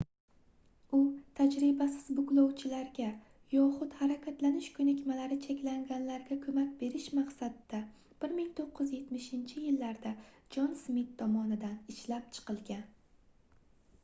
u tajribasiz buklovchilarga yoxud harakatlanish koʻnikmalari cheklanganlarga koʻmak berish maqsadida 1970-yillarda jon smit tomonidan ishlab chiqilgan